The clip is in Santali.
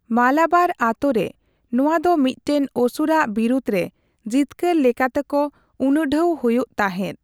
ᱢᱟᱞᱟᱵᱟᱨ ᱟᱛᱳ ᱨᱮ, ᱱᱚᱣᱟ ᱫᱚ ᱢᱤᱫᱴᱟᱝ ᱚᱥᱩᱨᱟᱜ ᱵᱤᱨᱩᱫᱽ ᱨᱮ ᱡᱤᱛᱠᱟᱹᱨ ᱞᱮᱠᱟᱛᱮᱠᱚ ᱩᱱᱩᱰᱷᱟᱹᱣ ᱦᱩᱭᱩᱜ ᱛᱟᱦᱮᱸᱫ ᱾